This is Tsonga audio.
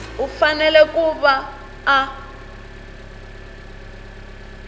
u fanele ku va a